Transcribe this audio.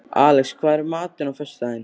Alex, hvað er í matinn á föstudaginn?